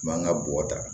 Mankan ka bɔ ta